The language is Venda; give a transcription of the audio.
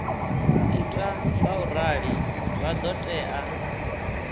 ita ngaurali vha ḓo tea